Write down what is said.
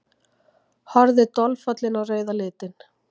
Horfði dolfallin á rauða litinn.